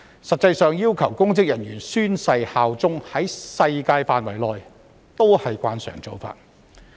實際上，要求公職人員宣誓效忠，在世界上是慣常做法。